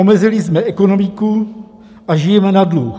Omezili jsme ekonomiku a žijeme na dluh.